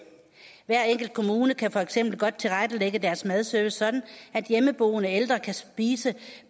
hver enkelt kommune kan for eksempel godt tilrettelægge deres madservice sådan at hjemmeboende ældre kan spise